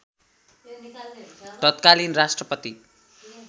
तत्कालीन राष्ट्रपति